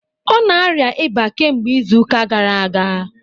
Ọ na-arịa ịba kemgbe izu ụka gara aga